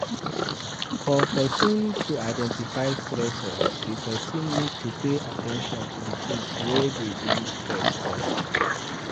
For person to identify stressors, di person need to pay at ten tion to di things wey dey bring stress come